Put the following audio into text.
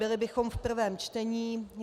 Byli bychom v prvém čtení.